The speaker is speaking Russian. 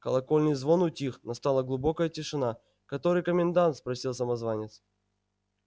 колокольный звон утих настала глубокая тишина который комендант спросил самозванец